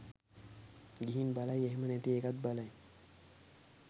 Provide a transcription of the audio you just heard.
ගිහින් බලයි එහෙම නැති එකත් බලයි